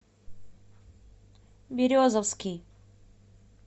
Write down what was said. березовский